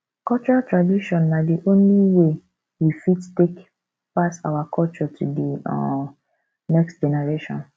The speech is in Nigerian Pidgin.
cultural tradition na di only way wey we fit take pass our culture to di um next generation